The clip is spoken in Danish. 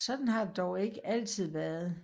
Sådan har det dog ikke altid været